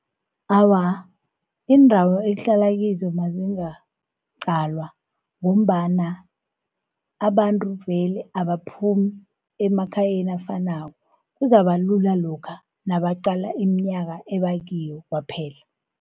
Awa iindawo ekuhlala kizo mazingaqalwa, ngombana abantru vele abaphumi emakhayeni afanako. Kuzabalula lokha nabaqa iminyaka ebakiyo kwaphela.